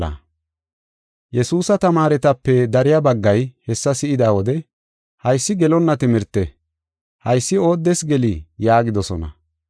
Yesuusa tamaaretape dariya baggay hessa si7ida wode, “Haysi gelonna timirte; haysi ooddes gelii?” yaagidosona.